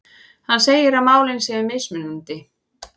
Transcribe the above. Hann segir að málin séu mismunandi